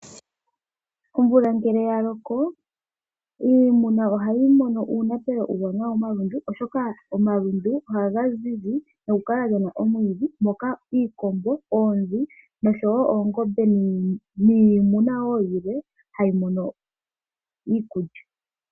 Omvula ngele yaloko ,iimuna ohayi mono uunapelo uuwanawa momalundu oshoka omalundu ohaga zizi nokukala gena omwiidhi Opo Iinamwenyo ngaashi iikombo , oonzi, oongombe noshowo iinamwenyo yilwe hayi mono iikulya.